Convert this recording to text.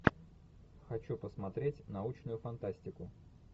хочу посмотреть научную фантастику